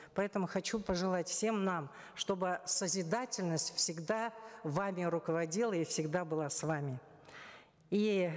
поэтому хочу пожелать всем нам чтобы созидательность всегда вами руководила и всегда была с вами и